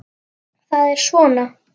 Það er svona